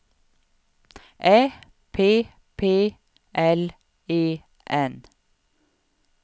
Ä P P L E N